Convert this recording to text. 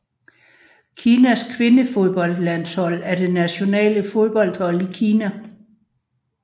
Kinas kvindefodboldlandhsold er det nationale fodboldhold i Kina